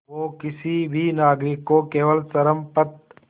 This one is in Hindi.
वो किसी भी नागरिक को केवल चरमपंथ